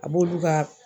A b'olu ka